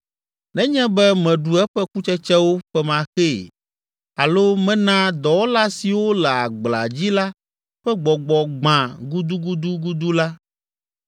nenye be meɖu eƒe kutsetsewo femaxee alo mena dɔwɔla siwo le agblea dzi la ƒe gbɔgbɔ gbã gudugudugudu la,